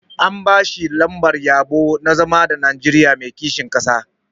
An ba shi lambar yabo na zama ɗan Nigeria mai kishin ƙasa.